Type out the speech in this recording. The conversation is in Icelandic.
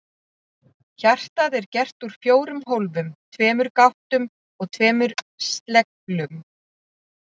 Hjartað er gert úr fjórum hólfum, tveimur gáttum og tveimur sleglum.